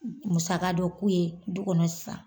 N musaka dɔ k'u ye du kɔnɔ sisan